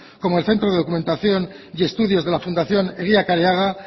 como el centro de documentación y estudios de la fundación eguía careaga